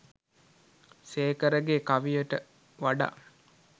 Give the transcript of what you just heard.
සේකරගේ කවියට වඩා